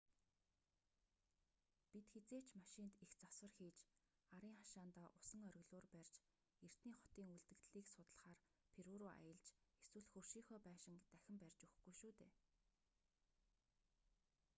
бид хэзээ ч машинд их засвар хийж арын хашаандаа усан оргилуур барьж эртний хотын үлдэгдлийг судлахаар перу руу аялж эсвэл хөршийнхөө байшинг дахин барьж өгөхгүй шүү дээ